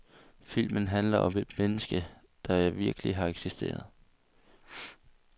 Filmen handler om et menneske, der virkelig har eksisteret.